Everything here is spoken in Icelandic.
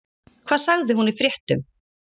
Hvað sagði hún í fréttum?